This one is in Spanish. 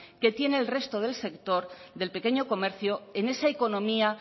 que tienen el resto del sector del pequeño comercio en esa economía